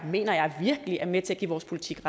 mener jeg virkelig er med til at give vores politik